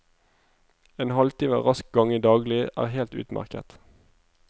En halvtime rask gange daglig er helt utmerket.